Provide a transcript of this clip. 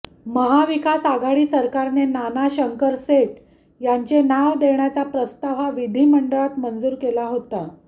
महाविकास आघाडी सरकारने नाना शंकरशेठ यांचे नाव देण्याचा प्रस्ताव हा विधिमंडळात मंजूर केला होता